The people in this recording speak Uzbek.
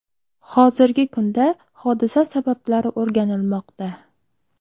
Hozirgi kunda hodisa sabablari o‘rganilmoqda.